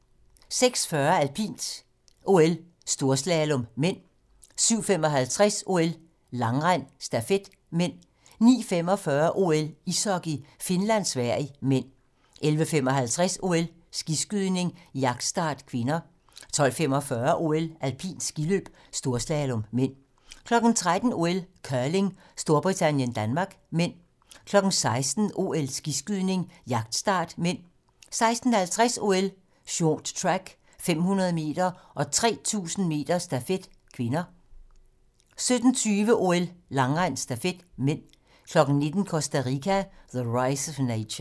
06:40: OL: Alpint - storslalom (m) 07:55: OL: Langrend - stafet (m) 09:45: OL: Ishockey - Finland-Sverige (m) 11:55: OL: Skiskydning - jagtstart (k) 12:45: OL: Alpint skiløb - storslalom (m) 13:00: OL: Curling - Storbritannien-Danmark (m) 16:00: OL: Skiskydning - jagtstart (m) 16:50: OL: Short track - 500 m og 3000 m stafet (k) 17:20: OL: Langrend - stafet (m) 19:00: Costa Rica: The Rise Of Nature